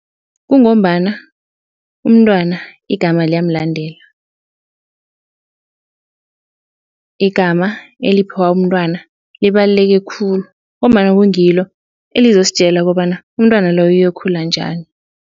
Kungombana umntwana igama liyamlandela. Igama eliphiwa umntwana libaluleke khulu ngombana kungilo elizositjela kobana umntwana loyo uyokhula njani.